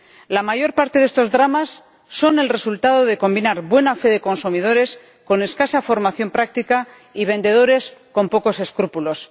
La mayor parte de estos dramas son el resultado de combinar buena fe de consumidores con escasa formación práctica y vendedores con pocos escrúpulos.